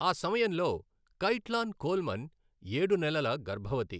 ఆ సమయంలో Caitlan Coleman ఏడు నెలల గర్భవతి.